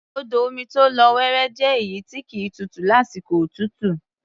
Odò omi tó lọ́ wọrọ́ jẹ́ èyí tí kì í tutù lásìkò òtútù.